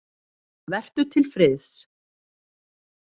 Vertu til friðs.